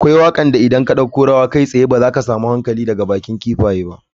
Akwai wakar da idan ka dauko ruwa kai tsaye daga bakin kifaye ba za ka samu hankali ba.